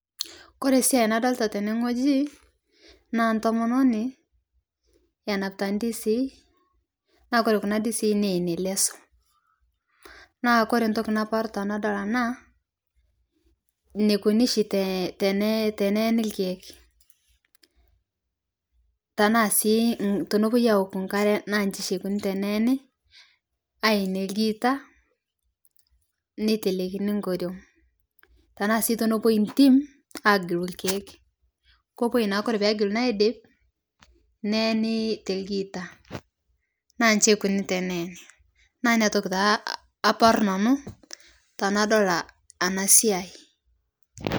Kore siai nadolita tene ng'oji naa ntomononin enapitaa ndizii naa kore kuna dizii neenie lesoo naa kore ntoki naparu tanadol ana neikoni shi teneeni lkeek tanaa sii tonopuoi aoku nkare naa nshii shii eikoni teneeni ayenie lgiita neitelekini nkoriong' tanaa sii tonopuoi ntim agiluu lkeek kopuoi naa kore pegeluni aidip neeni te lgiita naa nshi eikoni teneeni naa inia toki taa aparuu nanuu tanadol ana siai.